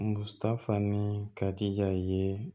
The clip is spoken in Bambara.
Mutafan ni kadi ja ye